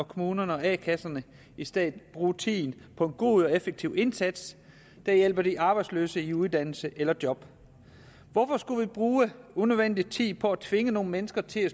kommunerne og a kasserne i stedet bruge tiden på en god og effektiv indsats der hjælper de arbejdsløse i uddannelse eller job hvorfor skulle vi bruge unødvendig tid på at tvinge nogle mennesker til